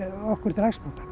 okkur til hagsbóta